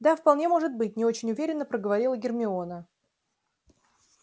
да вполне может быть не очень уверенно проговорила гермиона